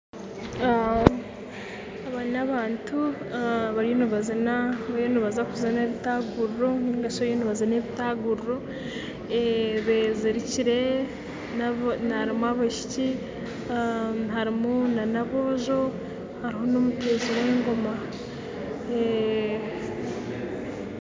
Aba n'abantu bariyo nibaziina ebitaguriro nari shi bariyo nibezirika kuzina ekitanguriro harimu abaishiki n'aboojo hamwe n'omuteezi w'engooma